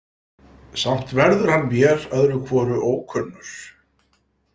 Samt verður hann mér öðru hvoru ókunnur.